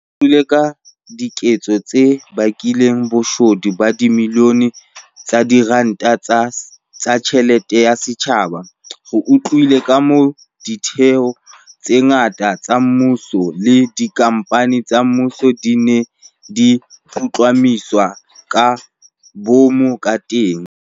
Re utlwile ka diketso tse bakileng boshodu ba dibilione tsa diranta tsa tjhelete ya setjhaba. Re utlwile kamoo ditheo tse ngata tsa mmuso le dikhamphani tsa mmuso di neng di putlamiswa ka boomo kateng.